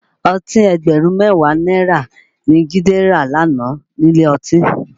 Ọtí ẹgbẹ̀rún mẹ́wàá náírà ni Jide rà lánàá nílé ọtí